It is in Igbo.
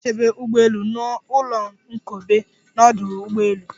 A na-echebe ugbọelu na ụlọnkobe n'ọdụ ụgbọelu.